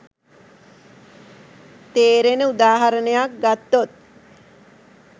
තේරෙන උදාහරණයක් ගත්තොත්